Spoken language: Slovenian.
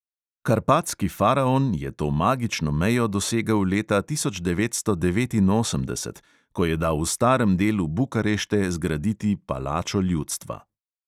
Karpatski faraon je to magično mejo dosegel leta tisoč devetsto devetinosemdeset, ko je dal v starem delu bukarešte zgraditi palačo ljudstva.